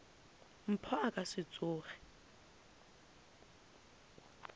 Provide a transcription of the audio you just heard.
mpho a ka se tsoge